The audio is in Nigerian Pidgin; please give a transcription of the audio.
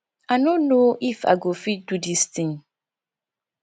i no know if i go fit do dis thing